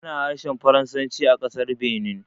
Ana harshen Faransanci a ƙasar Benin